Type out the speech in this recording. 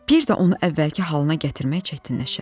Bir də onu əvvəlki halına gətirmək çətinləşər.